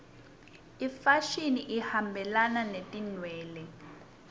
imfashini ihambelana netinwele